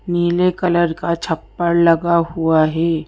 नीले कलर का छप्पड़ लगा हुआ है।